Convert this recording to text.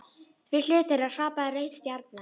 Við hlið þeirra hrapaði rauð stjarna.